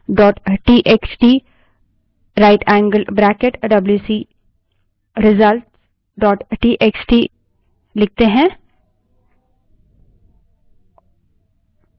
मानिए कि हम WC space test one dot TXT right angled bracket WC result dot TXT wc space test1 dot txt rightangled bracket wc _ results dot txt लिखें